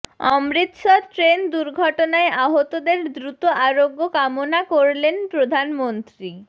Amritsar train দুর্ঘটনায় আহতদের দ্রুত আরোগ্য কামনা করলেন প্রধানমন্ত্রী